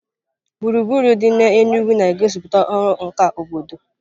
Gburugburu dị n'Enugwu na-egosipụta ọrụ nka obodo.